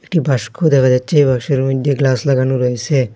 একটি বাস্ক দেখা যাচ্চে এই বাক্সের মইদ্যে গ্লাস লাগানো রয়সে।